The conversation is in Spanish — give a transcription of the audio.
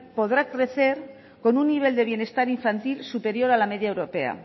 podrá crecer con un nivel de bienestar infantil superior a la media europea